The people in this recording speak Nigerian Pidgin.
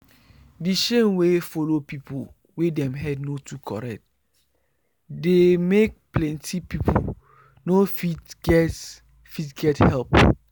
the shame wey follow people wey dem head no too correct dey make plenty people no fit get fit get help